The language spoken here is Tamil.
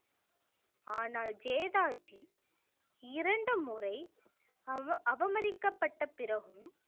ஆனால் ஜெதாஜி இரண்டு முறை அவ~ அவமதிக்கப்பட்ட பிறகும்